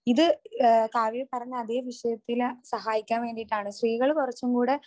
ഇത് കാവ്യ പറഞ്ഞ അതെ വിഷയത്തിൽ സഹായിക്കാൻ വേണ്ടീട്ടാണ് സ്ത്രീകൾ കുറച്ചുംകൂടെ